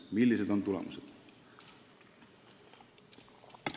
Millised on tulemused?